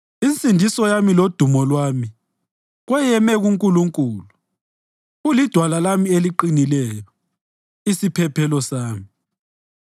Insindiso yami lodumo lwami kweyeme kuNkulunkulu; ulidwala lami eliqinileyo, isiphephelo sami.